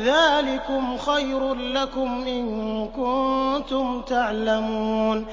ذَٰلِكُمْ خَيْرٌ لَّكُمْ إِن كُنتُمْ تَعْلَمُونَ